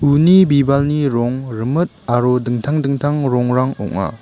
uni bibalni rong rimit aro dingtang dingtang rongrang ong·a